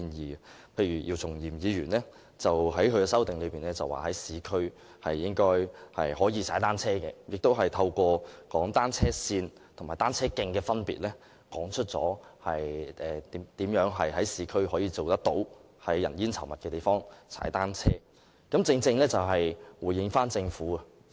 舉例而言，姚松炎議員在其修正案提出應容許在市區踏單車，亦透過闡述單車線與單車徑的分別，說明如何能在市區人煙稠密的地方踏單車，正能回應政府的說法。